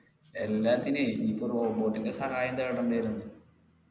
എല്ലാത്തിനേ ഇപ്പൊ robot ൻ്റെ സഹായം തേടേണ്ടി വരും